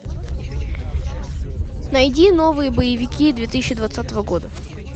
найди новые боевики две тысячи двадцатого года